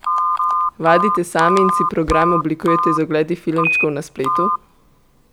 Vadite sami in si program oblikujete z ogledi filmčkov na spletu?